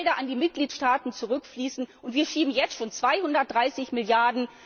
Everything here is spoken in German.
Es werden Gelder an die Mitgliedstaaten zurückfließen und wir schieben jetzt schon 230 Mrd.